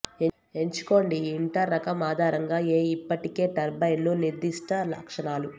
ఎంచుకోండి ఇంటర్ రకం ఆధారంగా ఏ ఇప్పటికే టర్బైన్లు నిర్దిష్ట లక్షణాలు